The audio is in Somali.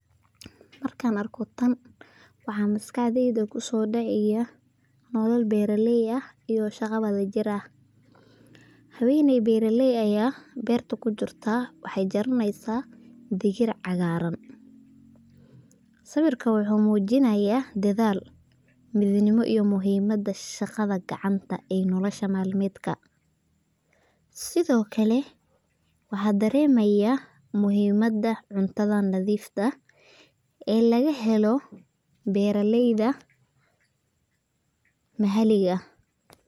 Markan arko taan waxa maskaxdeyda kusodaca nolol beraley ah iyo shagaa wadajir ah, haweney beraley aya berta kujirta waxay jaraneysa digir cagaran, sawirka wuxu mujinaya dadaal, midnimo iyo muxiimada shagada gacanta ee nolosha malmedka, Sidhokale waxa daremaya muxiimada cuntada nadiifta ee lagahelo beraleyda maxaliga.